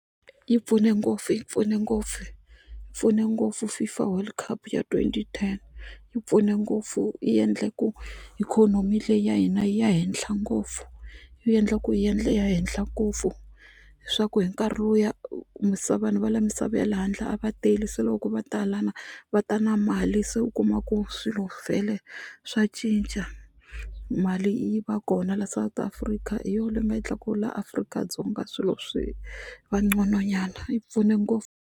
Yi pfune ngopfu yi pfune ngopfu yi pfune ngopfu FIFA World Cup ya twenty ten yi pfune ngopfu yi endle ku ikhonomi leyi ya hina yi ya henhla ngopfu yi endla ku yi yi ya henhla ngopfu swaku hi nkarhi lowuya vanhu va le misava ya le handle a va tele se loko ko va tala lana va ta na mali se u kuma ku swilo vhele swa cinca mali yi va kona la South Africa hi yona leyi u nga yi tlakuka la Afrika-Dzonga swilo swi va nqono nyana yi pfune ngopfu.